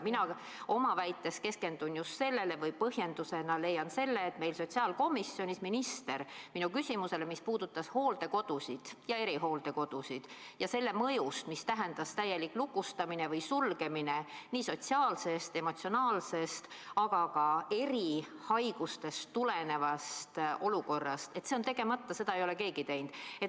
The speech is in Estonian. Mina oma väites keskendun just sellele või põhjendusena leian selle, et sotsiaalkomisjonis minister minu küsimusele, mis puudutas hooldekodusid ja erihooldekodusid, ja selle mõjust, mida tähendas täielik lukustamine või sulgemine nii sotsiaalsest, emotsionaalsest, aga ka erihaigustest tulenevast olukorrast, see on tegemata, seda ei ole keegi teinud.